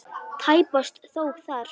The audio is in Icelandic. Tæpast þó þar.